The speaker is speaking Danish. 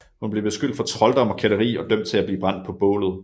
Hun blev beskyldt for trolddom og kætteri og dømt til at blive brændt på bålet